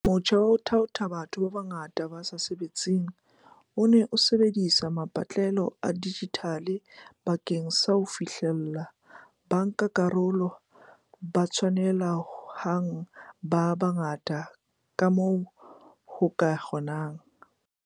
Motjha wa ho thaotha batho ba bangata ba sa sebetseng o ne o sebedisa mapatlelo a dijithale bakeng sa ho fihlella bankakarolo ba tshwanele hang ba bangata kamoo ho ka kgonehang.